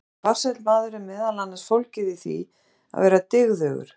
Að vera farsæll maður er meðal annars fólgið í því að vera dygðugur.